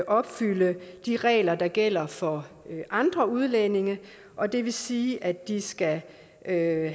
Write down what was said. opfylde de regler der gælder for andre udlændinge og det vil sige at de skal have